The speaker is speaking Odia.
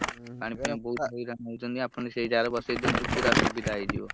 ପାଣି ପିଆକୁ ବହୁତ୍ ହଇରାଣ ହଉଛନ୍ତି ଆପଣ ପୂରା ସୁବିଧା ହେଇଯିବ।